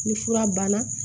Ni fura banna